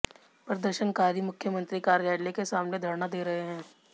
प्रदर्शनकारी मुख्यमंत्री कार्यालय के सामने धरना दे रहे हैं